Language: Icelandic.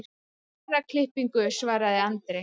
Herraklippingu, svaraði Andri.